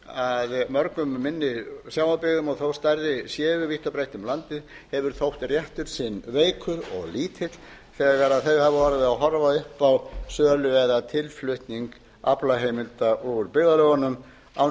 að mörgum minni sjávarbyggðum vítt og breitt um landið hefur þótt réttur sinn veikur og lítill þegar þau hafa orðið að horfa upp á sölu eða tilflutning aflaheimilda úr byggðarlögunum án